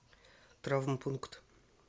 травмпункт